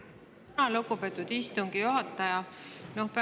Tänan, lugupeetud istungi juhataja!